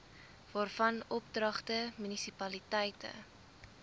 waarvan oordragte munisipaliteite